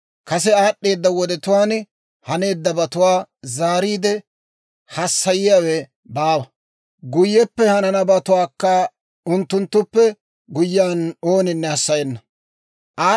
Kase aad'd'eeda wodetuwaan haneeddabatuwaa zaariide hassayiyaawe baawa; guyyeppe hananabatuwaakka unttunttuppe guyyiyaan ooninne hassayenna.